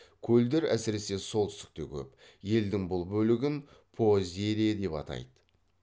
көлдер әсіресе солтүстікте көп елдің бұл бөлігін поозерье деп атайды